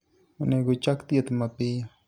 Onego ochak thieth mapiyo.